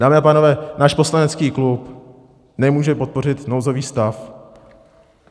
Dámy a pánové, náš poslanecký klub nemůže podpořit nouzový stav.